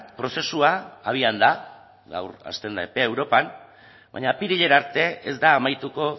prozesua abian da gaur hasten da epea europan baina apirilera arte ez da amaituko